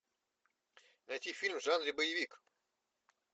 найти фильм в жанре боевик